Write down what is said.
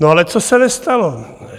No, ale co se nestalo?